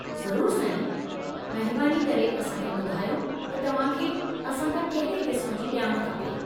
ज़रूरु साईं! महिरबानी करे असां खे ॿुधायो त तव्हां खे असां खां केहिड़े क़िस्म जी ॼाण खपे।